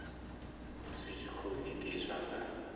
zwi tshi khou itiswa nga